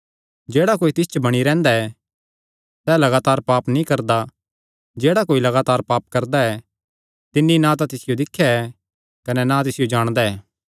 जेह्ड़ा कोई तिस च बणी रैंह्दा ऐ सैह़ लगातार पाप नीं करदा जेह्ड़ा कोई लगातार पाप करदा ऐ तिन्नी ना तां तिसियो दिख्या ऐ कने ना तिसियो जाणेया ऐ